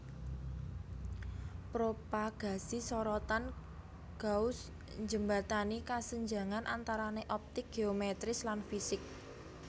Propagasi sorotan Gauss njembatani kasenjangan antarané optik géometris lan fisik